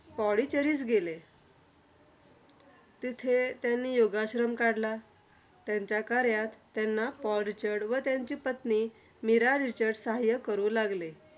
पौंडीचेरीस गेले. तिथे त्यांनी योगाश्रम काढला. त्यांच्या कार्यात त्यांना पॉल रिचर्ड व त्यांची पत्नी मीरा रिचर्ड सहाय्य करू लागले.